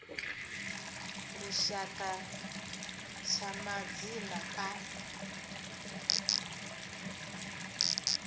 a lushaka tsha madzina a